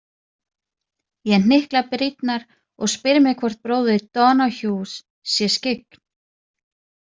Ég hnykla brýnnar og spyr mig hvort bróðir Donoghues sé skyggn.